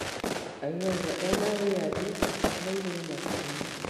Aiguaga arĩ na wĩyathi e igũrũ matu-inĩ.